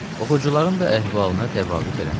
Oxucuların da əhvalına təvabut eləməz.